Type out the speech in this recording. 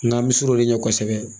N ka bi sir'olu ɲɛ kosɛbɛ